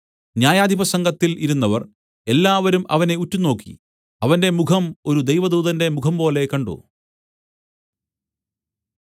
ന്യായാധിപസംഘത്തിൽ ഇരുന്നവർ എല്ലാവരും അവനെ ഉറ്റുനോക്കി അവന്റെ മുഖം ഒരു ദൈവദൂതന്റെ മുഖംപോലെ കണ്ട്